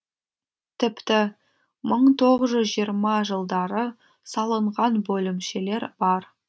тіпті мың тоғыз жүз жиырма жылдары салынған бөлімшелер бар